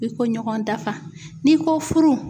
I ko ɲɔgɔn dafa n'i ko furu